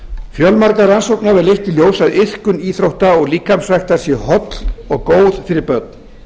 fjölmargar rannsóknir hafa leitt í ljós að iðkun íþrótta og líkamsræktar sé holl og góð fyrir börn